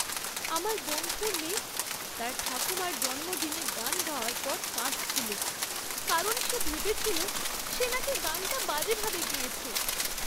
আমার বন্ধুর মেয়ে তার ঠাকুমার জন্মদিনে গান গাওয়ার পর কাঁদছিল কারণ সে ভেবেছিল সে নাকি গানটা বাজেভাবে গেয়েছে।